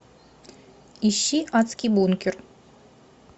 ищи адский бункер